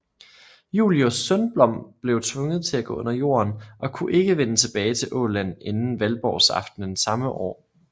Julius Sundblom blev tvunget til at gå under jorden og kunne ikke vende tilbage til Åland inden Valborgsaften samme år